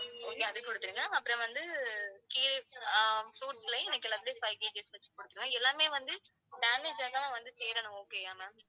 okay அது குடுத்துருங்க. அப்புறம் வந்து கீரை~ ஆஹ் fruits லேயும் எனக்கு எல்லாத்திலேயும் five KG வச்சு குடுத்துருங்க. எல்லாமே வந்து damage ஆகாம வந்து சேரணும். okay ஆ ma'am